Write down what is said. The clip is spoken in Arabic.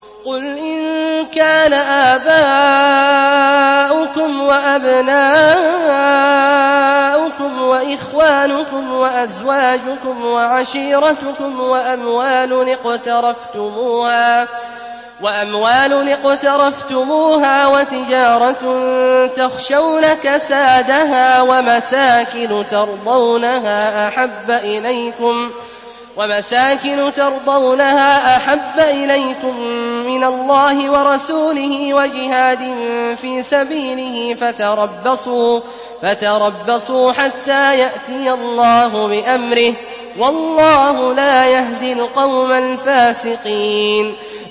قُلْ إِن كَانَ آبَاؤُكُمْ وَأَبْنَاؤُكُمْ وَإِخْوَانُكُمْ وَأَزْوَاجُكُمْ وَعَشِيرَتُكُمْ وَأَمْوَالٌ اقْتَرَفْتُمُوهَا وَتِجَارَةٌ تَخْشَوْنَ كَسَادَهَا وَمَسَاكِنُ تَرْضَوْنَهَا أَحَبَّ إِلَيْكُم مِّنَ اللَّهِ وَرَسُولِهِ وَجِهَادٍ فِي سَبِيلِهِ فَتَرَبَّصُوا حَتَّىٰ يَأْتِيَ اللَّهُ بِأَمْرِهِ ۗ وَاللَّهُ لَا يَهْدِي الْقَوْمَ الْفَاسِقِينَ